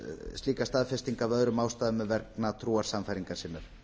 slíka staðfestingu af öðrum ástæðum en vegna trúarsannfæringar sinnar